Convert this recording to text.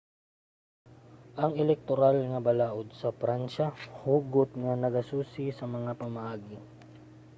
ang elektoral nga balaod sa pransiya hugot nga nagasusi sa mga pamaagi